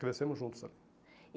Crescemos juntos lá.